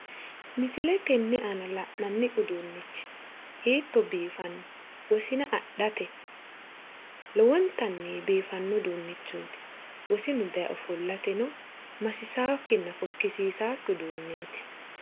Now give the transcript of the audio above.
Misile tenne aana la'nanni uduunnichi hiitto biifanno wosina adhate lowontanni biifanno uduunneeti wosinu daye ofollateno masisawokkinna fokkisiisawokki uduunneeti